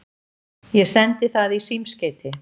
Ég sendi það í símskeyti.